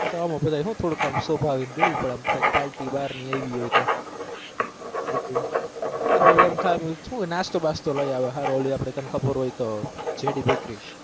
આ તો બધા એ હું થોડુક આમ દેવું પડે આમ કઈ party બહારની આયવી હોય તો શું છે નાશ્તો બાસ્તો લઇ આવે હારો ઓલી આપણે તને ખબર હોય તો JD bakery